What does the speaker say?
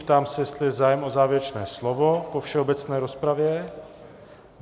Ptám se, jestli je zájem o závěrečné slovo po všeobecné rozpravě.